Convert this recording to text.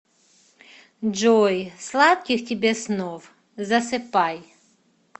джой сладких тебе снов засыпай